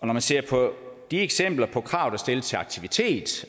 når man ser på de eksempler på krav der stilles til aktivitet